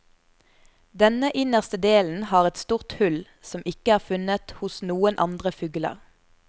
Denne innerste delen har et stort hull, som ikke er funnet hos noen andre fugler.